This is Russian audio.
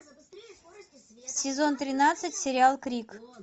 сезон тринадцать сериал крик